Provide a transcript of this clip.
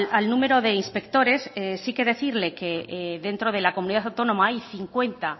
al número de inspectores sí que decirle que dentro de la comunidad autónoma hay cincuenta